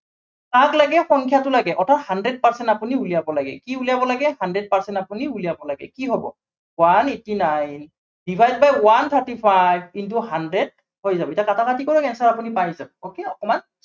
কাক লাগে সংখ্য়াটো লাগে। অৰ্থাত hundred percent আপুনি উলিয়াব লাগে, কি উলিয়াব লাগে hundred percent আপুনি উলিয়াব লাগে, কি হব one eighty nine, divide by one thirty five in to hundred হৈ যাব। এতিয়া কাটাকাটি কৰক answer টো আপুনি পাই যাব। okay অকনমান